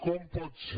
com pot ser